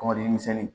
Kɔmɔden misɛnnin